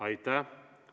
Aitäh!